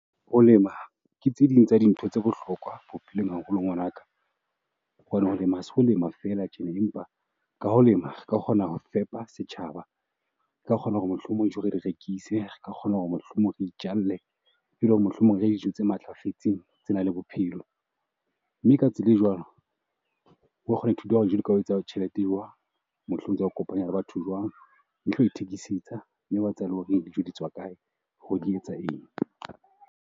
Ho lema ke tse ding tsa dintho tsa bohlokwa bophelong haholo ngwanaka ho kgona ho lema ho lema fela tjena, empa ka ho lema re ka kgona ho fepa setjhaba. Re ka kgona hore mohlomong re rekise ka kgona hore mohlomong re mohlomong re itjalle re je dijo tse matlafetseng tsenang le bophelo. Mme ka tsela e jwalo wa kgona ho ithuta tjhelete eo. Mohlomong e ka ho kopanya le batho jwang o ithekisetsa mme wa tseba hore dijo di tswa kae hore di etsa eng.